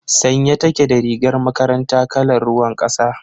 Sanye take da rigar makaranta kalar ruwan kasa.